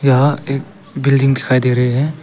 यहां एक बिल्डिंग दिखाई दे रहे है।